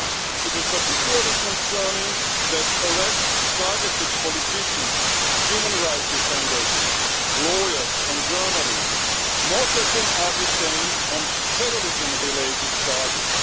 It is particularly concerning that arrests targeted politicians, human rights defenders, lawyers and journalists, most of whom are detained on terrorism related charges.